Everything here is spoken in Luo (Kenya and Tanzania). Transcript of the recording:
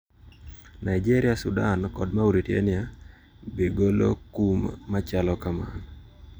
Nigeria, Sudan kod Mauritania be golo kum machalo kamano.